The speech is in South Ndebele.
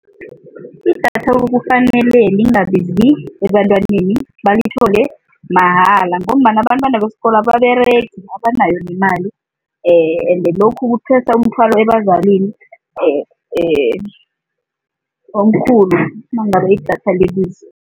Idatha kufanele lingabizi ebantwaneni balithole mahala ngombana abantwana besikolo ababeregi, abanayo nemali ende lokhu kuthwesa umthwalo ebazalini omkhulu nangabe idatha libiza.